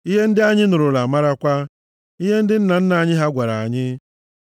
ihe ndị anyị nụrụla, marakwa, ihe ndị nna nna anyị ha gwara anyị.